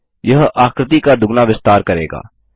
यह आकृति का दुगना विस्तार करेगा